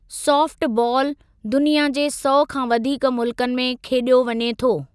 Soft बालु दुनिया जे सौ खां वधीक मुल्कनि में खेॾियो वञे थो।